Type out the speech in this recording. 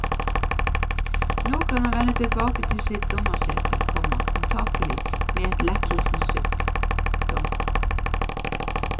Nå kan han vende tilbake til sitt dommersete, komma antagelig med et lettelsens sukk. punktum